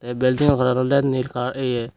ae buildingo coloran olode nil color ye.